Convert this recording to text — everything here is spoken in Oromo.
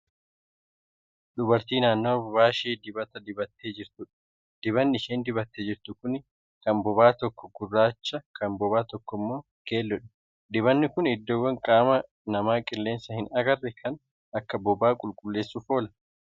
Dubartii naannawa bobaa ishee dibata dibattee jirtuudha. dibanni isheen dibattee jirtu Kuni Kan bobaa tokkoo gurraacha Kan bobaa tokkoo immoo keelloodha. dibanni Kuni iddoowwan qaama namaa qeellansa hin arganne kan akka bobaa qulqulleessuuf oola.